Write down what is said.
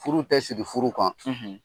Furu tɛ sigi furu kan.